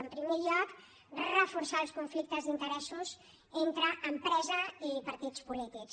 en primer lloc reforçar els conflictes d’interessos entre empresa i partits polítics